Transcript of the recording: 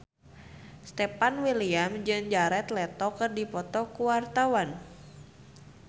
Stefan William jeung Jared Leto keur dipoto ku wartawan